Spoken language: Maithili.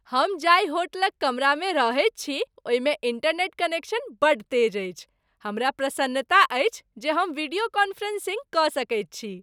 हम जाहि होटलक कमरामे रहैत छी ओहिमे इंटरनेट कनेक्शन बड्ड तेज अछि। हमरा प्रसन्नता अछि जे हम वीडियो कॉन्फ्रेंसिंग कऽ सकैत छी।